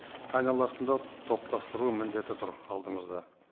айналасында топтастыру міндеті тұр алдымызда